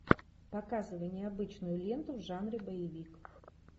показывай необычную ленту в жанре боевик